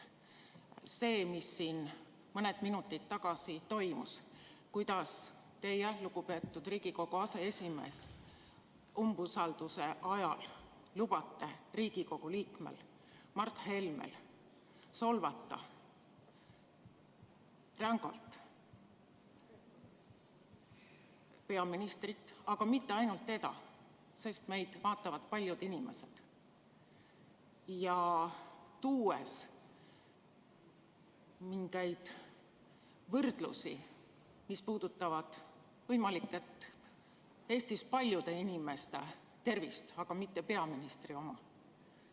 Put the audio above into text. See, mis mõned minutid tagasi toimus, kuidas te, lugupeetud Riigikogu aseesimees, umbusalduse avaldamise ajal lubasite Riigikogu liikmel Mart Helmel rängalt solvata peaministrit – aga mitte ainult teda, meid vaatavad paljud inimesed –, tuues mingeid võrdlusi, mis võivad puudutada Eestis paljude inimeste tervist, aga mitte peaministri oma.